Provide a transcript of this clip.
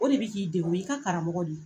O de bɛ k'i degun, u ye i ka karamɔgɔ de yen !